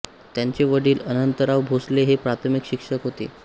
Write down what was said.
त्यांचे वडील अनंतराव भोसले हे प्राथमिक शिक्षक होते